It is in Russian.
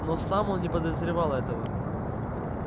но сам он не подозревал этого